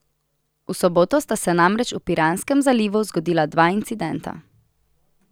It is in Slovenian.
V soboto sta se namreč v Piranskem zalivu zgodila dva incidenta.